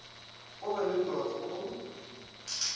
go be le dots go